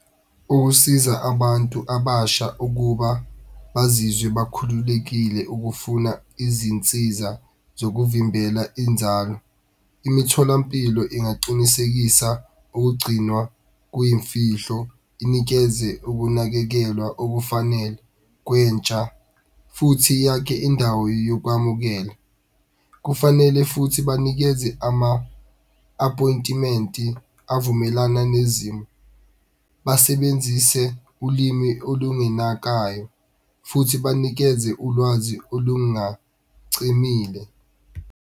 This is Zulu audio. Ukusiza abantu abasha ukuba bazizwe bakhululekile ukufuna izinsiza zokuvimbela inzalo, imitholampilo ingaqinisekisa ukugcinwa kuyimfihlo, inikeze ukunakekelwa okufanele kwentsha futhi yakhe indawo yokwamukela. Kufanele futhi banikeze ama-appointment-i avumelana nezimo, basebenzise ulimi olungenakayo futhi banikeze ulwazi olungacinile.